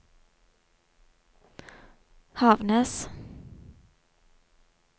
Havnnes